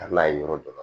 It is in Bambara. A n'a ye yɔrɔ dɔ la